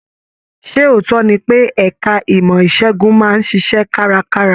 Ṣe ootọ ní pe ẹka ìmọ isegun máa n ṣiṣẹ karakara?